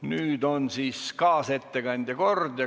Nüüd on kaasettekandja kord.